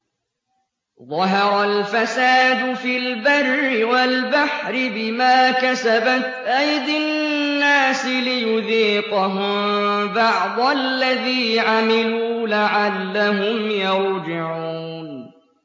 ظَهَرَ الْفَسَادُ فِي الْبَرِّ وَالْبَحْرِ بِمَا كَسَبَتْ أَيْدِي النَّاسِ لِيُذِيقَهُم بَعْضَ الَّذِي عَمِلُوا لَعَلَّهُمْ يَرْجِعُونَ